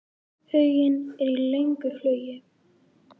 Huginn er í löngu flugi.